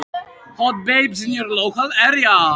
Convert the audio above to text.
Loksins var þessi síðasti tími búinn.